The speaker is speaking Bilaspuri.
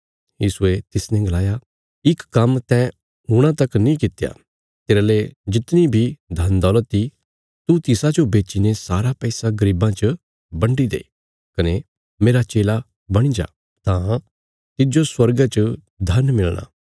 यीशुये तिसने गलाया इक काम्म तैं हूणा तक नीं कित्या तेरले जितणी बी धन दौलत इ तू तिसाजो बेच्चीने सारा पैसा गरीबां च बंडी दे कने मेरा चेला बणी जा तां तिज्जो स्वर्गा च धन मिलणा